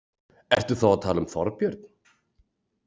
Ertu þá að tala um Þorbjörn?